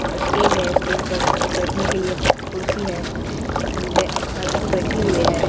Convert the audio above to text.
Stage है stage पर बैठने के लिए कुर्सी है कुर्सी पे लड़की बैठी हुई है।